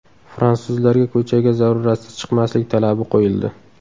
Fransuzlarga ko‘chaga zaruratsiz chiqmaslik talabi qo‘yildi .